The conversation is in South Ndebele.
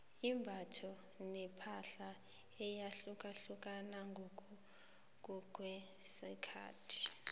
imbatho nepahla iyahlukahlukana ngokuya ngokwesikhathi